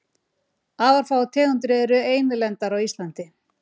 Afar fáar tegundir eru einlendar á Íslandi.